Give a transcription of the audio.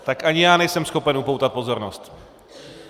Tak ani já nejsem schopen upoutat pozornost.